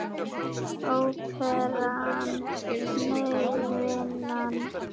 Óperan, nei vinan.